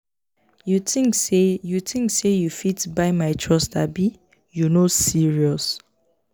you tink sey you tink sey you fit buy my trust abi? you no serious.